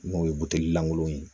N'o ye buteli langolo ye